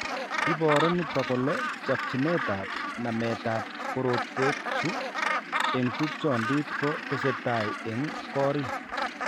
Iboru nito kole chakchinetab nametab korotwekchu eng' tupchondit ko tesetai eng' korik